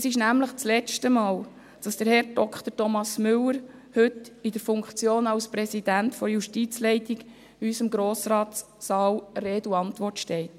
Es ist nämlich das letzte Mal, dass Herr Dr. Thomas Müller heute in der Funktion als Präsident der Justizleitung in unserem Grossratssaal Rede und Antwort steht.